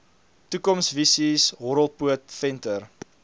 toekomsvisies horrelpoot venter